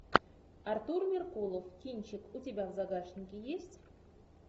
артур меркулов кинчик у тебя в загашнике есть